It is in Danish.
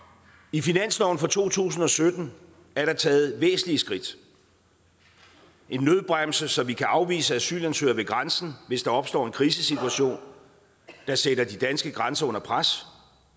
i finansloven for to tusind og sytten er der taget væsentlige skridt en nødbremse så vi kan afvise asylansøgere ved grænsen hvis der opstår en krisesituation der sætter de danske grænser under pres